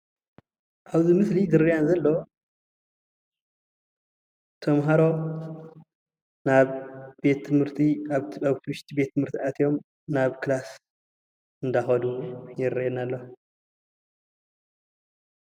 ኣብ ምስሊ ዝረአየና ዘሎ ተምሃሮ ናብ ቤት ትምህርቲ ኣብቲ ውሽጢ ቤት ትምህርቲ አትዮም ናብ ክለስ እናኸዱ ይርአየና ኣሎ።